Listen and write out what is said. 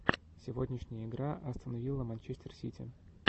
сегодняшняя игра астон вилла манчестер сити